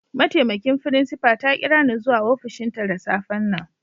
Ma'taimakin frincipa ta kira ni zuwa ofishin ta da safe'n nan.